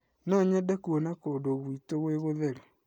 No nyende kuona kũndũ gwĩtũ kwĩ gũtheru.